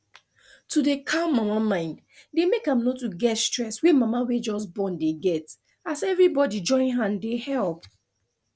to dey calm mama mind dey make am no too get stress wey mama wey just born dey get as everybody join hand dey help